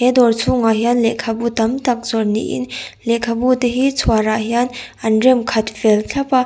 he dawr chhhungah hian lehkhabu tam tak zawrh niin lehkhabu te hi chhuar ah hian an rem khat fel thlap a.